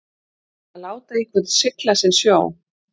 Að láta einhvern sigla sinn sjó